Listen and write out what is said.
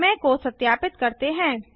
प्रमेय को सत्यापित करते हैं